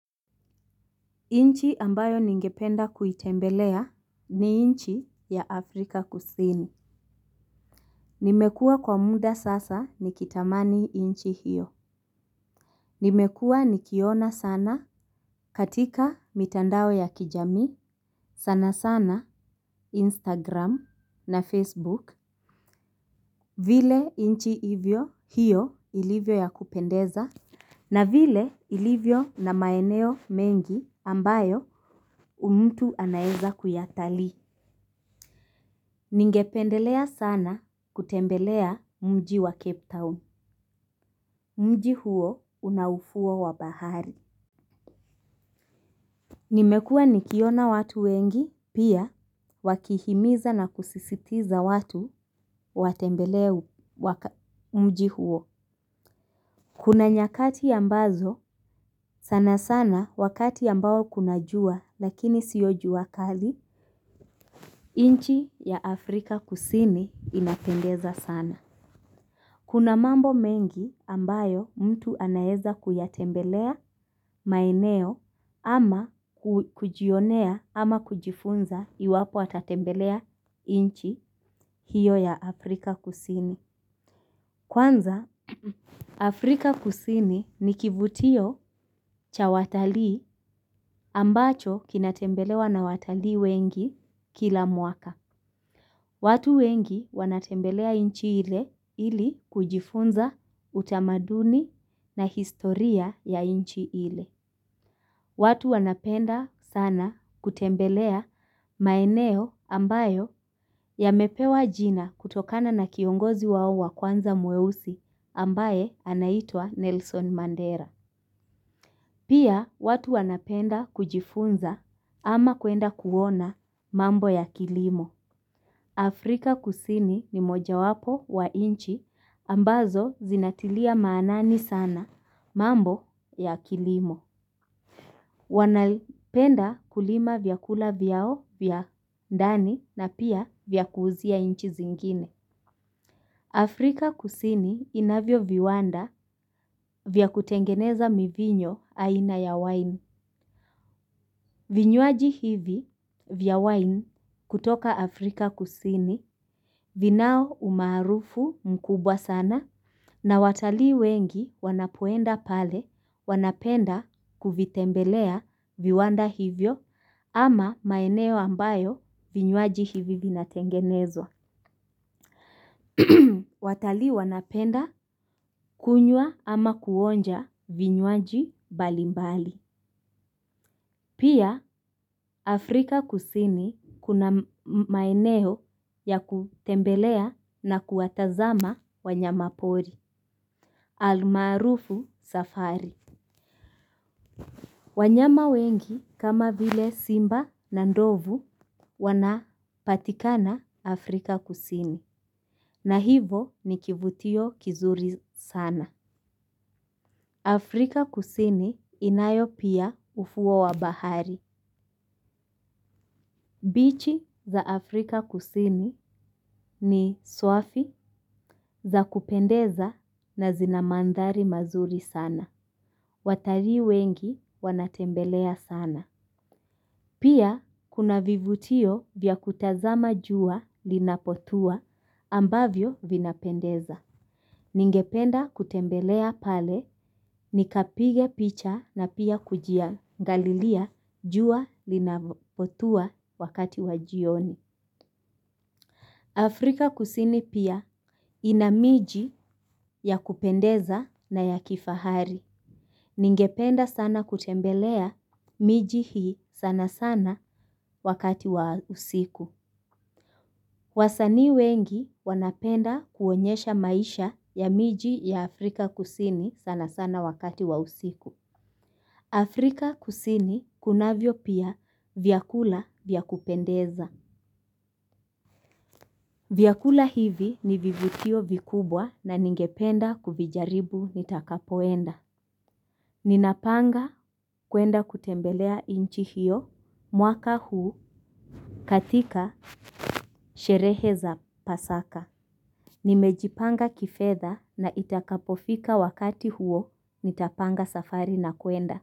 Inchi ambayo ningependa kuitembelea ni inchi ya Afrika kusini. Nimekua kwa muda sasa nikitamani inchi hiyo. Nimekua nikiona sana katika mitandao ya kijamii sana sana Instagram na Facebook. Vile inchi hivyo hiyo ilivyo ya kupendeza na vile ilivyo na maeneo mengi ambayo mtu anaweza kuyatali. Ninge pendelea sana kutembelea mji wa Cape Town. Mji huo una ufuo wa bahari. Nimekua nikiona watu wengi, pia wakihimiza na kusisitiza watu watembelee mji huo. Kuna nyakati ambazo sanasana wakati ambao kuna jua lakini sio jua kali. Nchi ya Afrika Kusini inapeneza sana. Kuna mambo mengi ambayo mtu anaeza kuyatembelea maneo ama kujionea ama kujifunza iwapo atatembelea inchi hiyo ya Afrika kusini. Kwanza Afrika Kusini ni kivutio cha watalii ambacho kinatembelewa na watalii weni kila mwaka. Watu wengi wanatembelea inchi ile ili kujifunza utamaduni na historia ya inchi ile. Watu wanapenda sana kutembelea maeneo ambayo yamepewa jina kutokana na kiongozi wao wa kwanza mweusi ambaye anaitwa Nelson Mandela. Pia watu wanapenda kujifunza ama kuenda kuona mambo ya kilimo. Afrika kusini ni moja wapo wa inchi ambazo zinatilia maanani sana mambo ya kilimo. Wanapenda kulima vyakula vyao vya ndani na za kuuzia nchi zingine Afrika kusini inavyo viwanda vyakutengeneza mivinyo aina ya wine. Vinyuaji hivi vya wine kutoka Afrika kusini vinao umaarufu mkubwa sana na watalii wengi wanapoenda pale wanapenda kuvitembelea viwanda hivyo ama maeneo ambayo vinyuaji hivi vina tengenezwa. Watali wanapenda kunywa ama kuonja vinywaji mbalimbali. Pia Afrika kusini kuna maeneo ya kutembelea na kuwatazama wanyama pori. Almarufu safari. Wanyama wengi kama vile simba na ndovu wanapatikana Afrika kusini. Na hivo nikivutio kizuri sana, Afrika kusini inayo pia ufuo wa bahari. Bichi za Afrika kusini ni swafi, za kupendeza na zinamandhari mazuri sana. Watalii wengi wanatembelea sana. Pia kuna vivutio vya kutazama jua linapotua ambavyo vinapendeza. Ningependa kutembelea pale nikapige picha na pia kujia angalilia jua linapotua wakati wajioni. Afrika kusini pia ina miji ya kupendeza na ya kifahari. Ningependa sana kutembelea miji hii sana sana wakati wa usiku. Wasanii wengi wanapenda kuonyesha maisha ya miji ya Afrika kusini sana sana wakati wa usiku. Afrika kusini kunavyo pia vyakula vyakupendeza. Vyakula hivi ni vivutio vikubwa na ningependa kuvijaribu nitakapoenda. Ninapanga kuenda kutembelea inchi hiyo mwaka huu katika sherehe za pasaka. Nimejipanga kifetha na itakapofika wakati huo, nitapanga safari na kuenda.